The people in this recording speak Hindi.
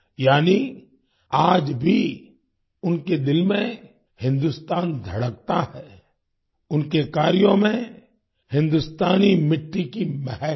यानी आज भी उनके दिल में हिन्दुस्तान धड़कता है उनके कार्यों में हिन्दुस्तानी मिट्टी की महक है